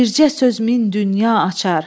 bircə söz min dünya açar.